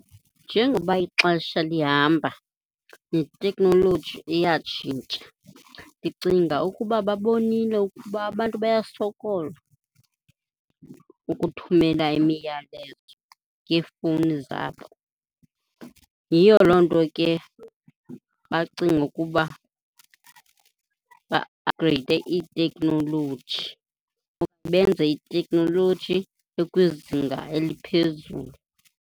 Njengoba ixesha lihamba neteknoloji iyatshintsha. Ndicinga ukuba babonile ukuba abantu bayasokola ukuthumela imiyalezo ngeefowuni zabo, yiyo loo nto ke bacinge ukuba ba-aphugreyide itekhnoloji , benze itekhnoloji ekwizinga eliphezulu.